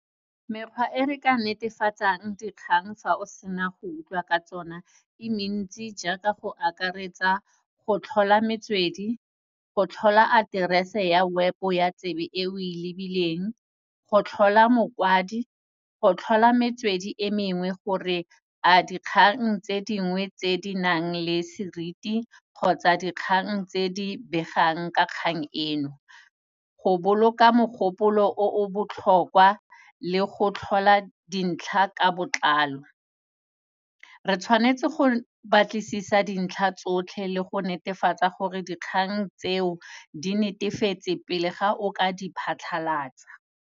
Mekgwa e re ka netefatsang dikgang fa o sena go utlwa ka tsona e mentsi jaaka, go akaretsa, go tlhola metswedi, go tlhola address-e ya web-o ya tsebe eo e lebileng, go tlhola mokwadi, go tlhola metswedi e mengwe gore a dikgang tse dingwe tse di nang le seriti kgotsa dikgang tse di begang ka kgang eno, go boloka mogopolo o o botlhokwa le go tlhola dintlha ka botlalo. Re tshwanetse go batlisisa dintlha tsotlhe le go netefatsa gore dikgang tseo di netefatse, pele ga o ka di phatlhalatsa.